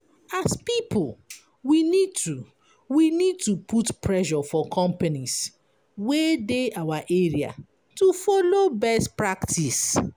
As pipo we need to we need to put pressure for companies wey dey our area to follow best practice